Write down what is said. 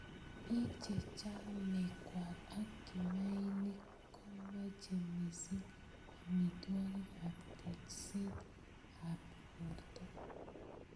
Bik chechamei ngwek ak kimainik komeche missing amitwokik ab tejset ab borto.